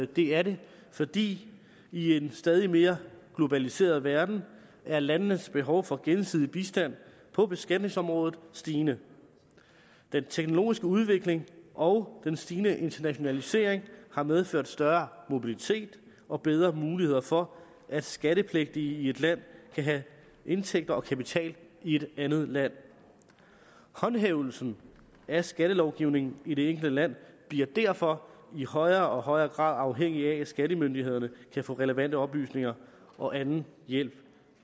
det er det fordi i en stadig mere globaliseret verden er landenes behov for gensidig bistand på beskatningsområdet stigende den teknologiske udvikling og den stigende internationalisering har medført større mobilitet og bedre muligheder for at skattepligtige i et land kan have indtægter og kapital i et andet land håndhævelsen af skattelovgivningen i det enkelte land bliver derfor i højere og højere grad afhængig af at skattemyndighederne kan få relevante oplysninger og anden hjælp